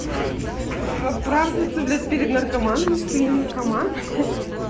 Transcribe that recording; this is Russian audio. оправдываться блядь перед наркоманами что я не наркоман хе